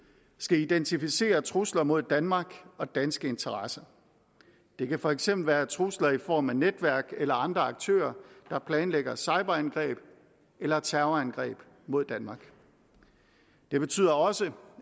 skal identificere trusler mod danmark og danske interesser det kan for eksempel være trusler i form af netværk eller andre aktører der planlægger cyberangreb eller terrorangreb mod danmark det betyder også